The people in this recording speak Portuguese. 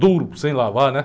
Duro, sem lavar, né?